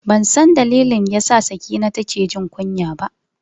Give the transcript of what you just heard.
Bansan dalilin da yasa Sakina take jin kunya ba.